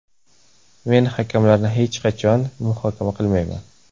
Men hakamlarni hech qachon muhokama qilmayman.